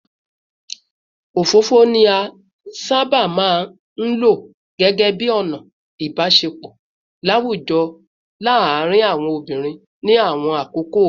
Òfófó ni a sábà máa ń lò gẹ́gẹ́ bí ọ̀nà ìbáṣepọ̀ láwùjọ láàárín àwọn obìnrin ní àwọn àkókò ìṣáájú